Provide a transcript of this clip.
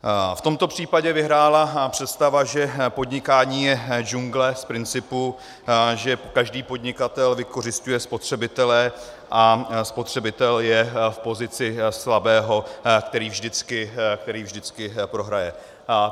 V tomto případě vyhrála představa, že podnikání je džungle z principu, že každý podnikatel vykořisťuje spotřebitele a spotřebitel je v pozici slabého, který vždycky prohraje.